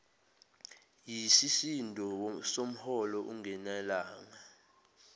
yisisindo somholo ungenelanga